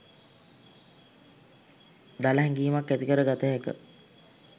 දළ හැඟීමක් ඇතිකර ගත හැක